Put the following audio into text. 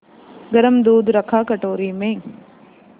गरम दूध रखा कटोरी में